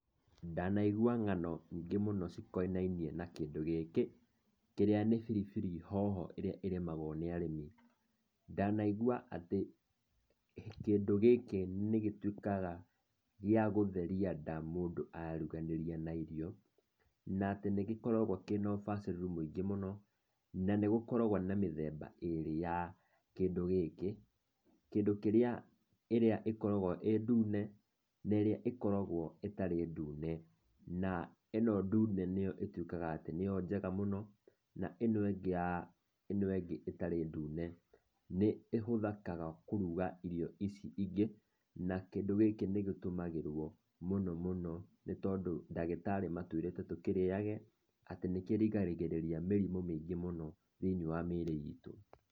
Ndanaigua ng'ano nyingĩ mũno cikonainie na kĩndũ gĩkĩ kĩrĩa nĩ biribiri hoho iria irimagwo nĩ arĩmi. Ndanaigua ati kĩndũ gĩkĩ nĩ gĩtuĩkaga gĩa gũtheria nda mũndũ aruganĩria na irio na atĩ nĩ gĩkoragwo kĩna ũbacĩrĩru maingĩ mũno na nĩ gũkoragwo na mĩthemba irĩ ya kĩndũ gĩkĩ. Kĩndũ kĩrĩa ikoragwo ĩ ndune na irĩa ĩkoragwo ĩtarĩ ndune. Na ino ndune nĩyo ĩtuĩkaga atĩ nĩyo njega mũno na ino ingĩ itarĩ ndune nĩ ihũthĩkaga kũruga irio ici ingĩ. Na kĩndũ gĩkĩ nĩ gĩtumagirwo mũno mũno nĩ tondũ ndagĩtarĩ matũĩrĩte tũkĩrĩyage atĩ nĩkĩrigagĩrĩria mĩrimũ mĩingĩ mũno thĩiniĩ wa mwĩrĩ itũ.